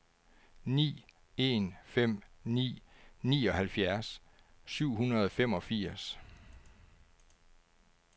ni en fem ni nioghalvfjerds syv hundrede og femogfirs